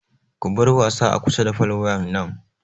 Ku bar wasa a kusa da fol wayan nan!